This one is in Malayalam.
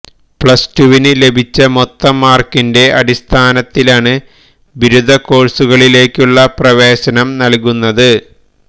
പ്ലസ്ടുവിന് ലഭിച്ച മൊത്തം മാര്ക്കിന്റെ അടിസ്ഥാനത്തിലാണ് ബിരുദകോഴ്സുകളിലേക്കുള്ള പ്രവേശനം നല്കുന്നത്